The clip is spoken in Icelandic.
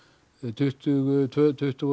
tuttugu og tveir til tuttugu